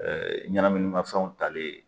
ɲɛnaminimafɛnw talen